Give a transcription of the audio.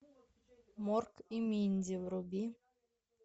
морк и минди вруби